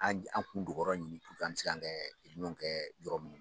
An an kun dɔgɔ yɔrɔ ɲini puruke an bɛ se kan kɛ kɛ yɔrɔ min